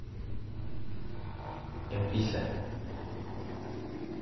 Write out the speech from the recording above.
Empisha.